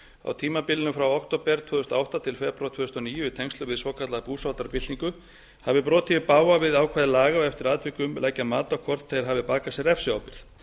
á tímabilinu frá október tvö þúsund og átta til febrúar tvö þúsund og níu í tengslum við svokallaða búsáhaldabyltingu hafi brotið í bága við ákvæði laga og eftir atvikum leggja mat á hvort þeir hafi bakað sér refsiábyrgð